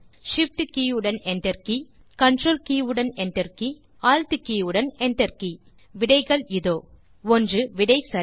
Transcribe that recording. Shift கே உடன் enter கே கன்ட்ரோல் கே உடன் enter கே Alt கே உடன் enter கே விடைகள் இதோ 1விடை சரி